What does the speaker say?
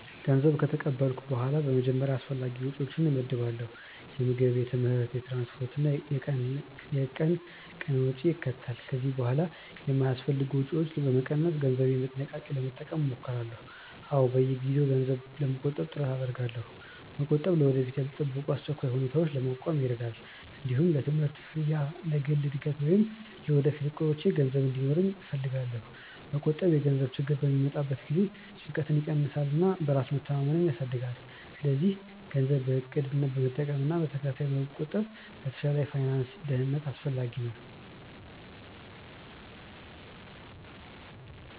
ገንዘብ ከተቀበልኩ በኋላ በመጀመሪያ አስፈላጊ ወጪዎቼን እመድባለሁ። የምግብ፣ የትምህርት፣ የትራንስፖርት እና የቀን ቀን ወጪን ያካትታሉ። ከዚያ በኋላ የማይአስፈልጉ ወጪዎችን በመቀነስ ገንዘቤን በጥንቃቄ ለመጠቀም እሞክራለሁ። አዎ፣ በየጊዜው ገንዘብ ለመቆጠብ ጥረት አደርጋለሁ። መቆጠብ ለወደፊት ያልተጠበቁ አስቸኳይ ሁኔታዎችን ለመቋቋም ይረዳል። እንዲሁም ለትምህርት ክፍያ፣ ለግል እድገት ወይም ለወደፊት እቅዶቼ ገንዘብ እንዲኖረኝ እፈልጋለሁ። መቆጠብ የገንዘብ ችግር በሚመጣበት ጊዜ ጭንቀትን ይቀንሳል እና በራስ መተማመንን ያሳድጋል። ስለዚህ ገንዘብን በእቅድ መጠቀምና በተከታታይ መቆጠብ ለተሻለ የፋይናንስ ደህንነት አስፈላጊ ነው።